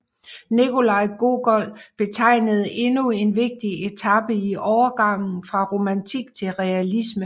Nikolaj Gogol betegnede endnu en vigtig etape i overgangen fra romantik til realisme